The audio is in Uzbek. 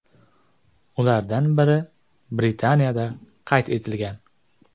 Ulardan biri Britaniyada qayd etilgan.